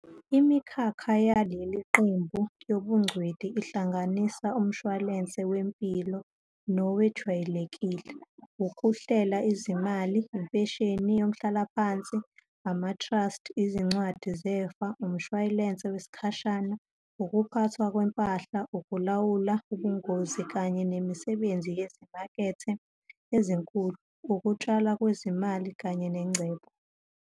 Imikhakha yaleli qembu yobungcweti ihlanganisa umshwalense, wempilo nowejwayelekile, ukuhlela izimali, impesheni yomhlalaphansi, ama-trust, izincwadi zefa, umshwalense wesikhashana, ukuphathwa kwempahla, ukulawula ubungozi kanye nemisebenzi yezimakethe ezinkulu, ukutshalwa kwezimali kanye nengcebo.